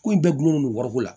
Ko in bɛɛ gulonnen don wariko la